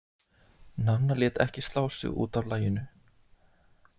Nanna lét ekki slá sig út af laginu.